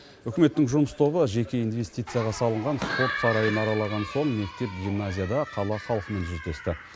үкіметтің жұмыс тобы жеке инвестицияға салынған спорт сарайын аралаған соң мектеп гимназияда қала халқымен жүздесті